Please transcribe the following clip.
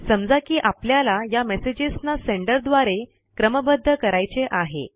समजा या मेसेजेस ना सेंडर द्वारे क्रमबद्ध करायचे आहे